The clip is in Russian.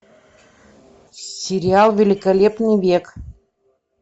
сериал великолепный век